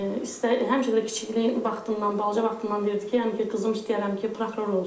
Həmişə də kiçikliyindən vaxtından, balaca vaxtından deyirdi ki, yəni ki, qızım istəyərəm ki, prokuror olsun.